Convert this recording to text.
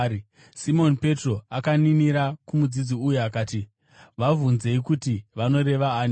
Simoni Petro akaninira kumudzidzi uyu akati, “Vabvunzei kuti vanoreva ani.”